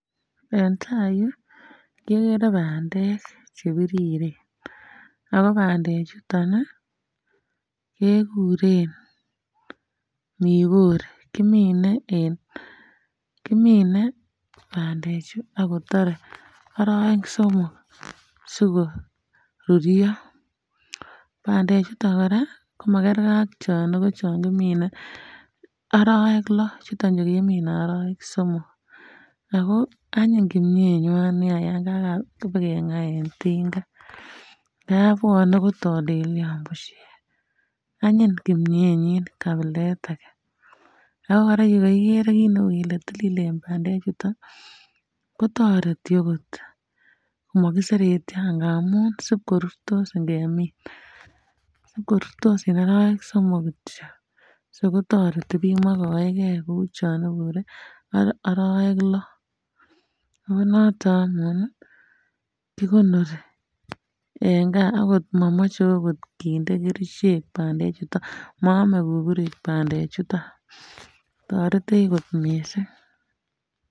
Entai yu kegere bandek chebiriren ago bandee ichuton kekuren mikori Kimine en Kimine bandee chu ak kotare oroek somok sikoruryo bandee chuton koraa komakergee ak chooniko choon kimine oroek lo chutonchu kemine oroek somok ago anyiny kimyenywan nia Yan kabikegaa en tingaa ngab bwone kotolelyon bushek anyiny kimyenyin kabilet age ago kakiren kit neu kole tililen bande chutun kotoreti okot mokiseretyo amun sibkorurstos ingemin sibkorurstos en oroek somok kityo so kotoreti biik mokoengee kou chon ibure oroek lo konoton anyun kikonori en gaa ago momoche okot kerichek bandee ichuton moome kukurik bande chutun toretech kot miisik.